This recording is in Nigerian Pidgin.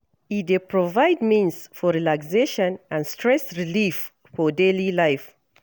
E dey provide means for relaxation and stress relief for daily life.